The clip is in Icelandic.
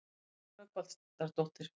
Nanna Rögnvaldardóttir.